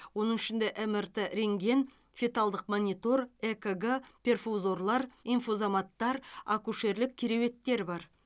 оның ішінде мрт рентген феталдық монитор экг перфузорлар инфузоматтар акушерлік кереуеттер бар